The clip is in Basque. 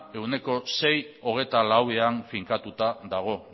ehuneko sei koma hogeita lauean finkatuta dago